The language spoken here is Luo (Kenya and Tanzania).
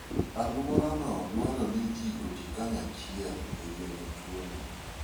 Alworano dwaro ni ji oti kanyachiel e geng'o tuono.